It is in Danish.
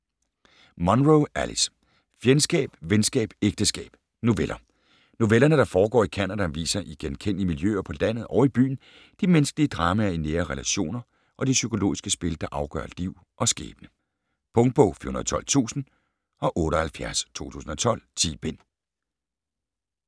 Munro, Alice: Fjendskab, venskab, ægteskab: noveller Novellerne, der foregår i Canada, viser i genkendelige miljøer på landet og i byen de menneskelige dramaer i nære relationer og de psykologiske spil der afgør liv og skæbne. Punktbog 412078 2012. 10 bind.